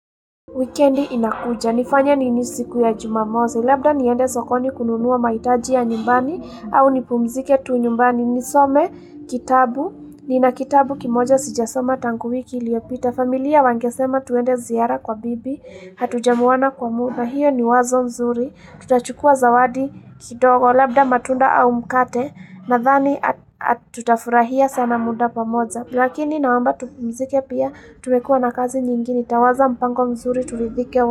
Weekendi inakuja. Nifanye nini siku ya jumamosi. Labda niende sokoni kununua mahitaji ya nyumbani au nipumzike tu nyumbani. Nisome kitabu. Nina kitabu kimoja sijasoma tangu wiki iliyopita. Familia wangesema tuende ziara kwa bibi. Hatujamuona kwa muda. Hiyo ni wazo nzuri. Tutachukua zawadi kidogo. Labda matunda au mkate. Nadhani tutafurahia sana muda pamoza. Lakini naomba tupumzike pia, tumekuwa na kazi nyingi. Nawaza mpango mzuri tulidhike wa mzuri.